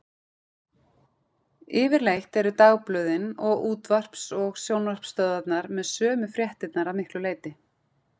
Yfirleitt eru dagblöðin, og útvarps- og sjónvarpsstöðvarnar með sömu fréttirnar að miklu leyti.